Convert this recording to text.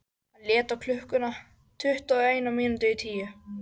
Hann leit á klukkuna: tuttugu og eina mínútu í tíu.